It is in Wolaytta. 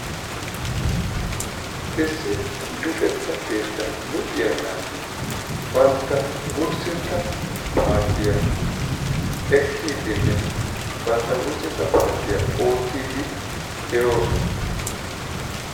issi luxetta keettan luxxiyaa naati banta wursetta paaciya ekiidinne banta wursetta paaciya ootiidi de'oosona.